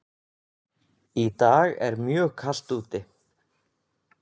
Í dag er mjög kalt úti.